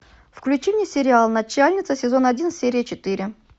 включи мне сериал начальница сезон один серия четыре